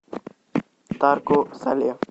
тарко сале